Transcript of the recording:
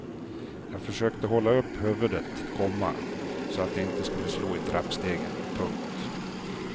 Jag försökte hålla upp huvudet, komma så att det inte skulle slå i trappstegen. punkt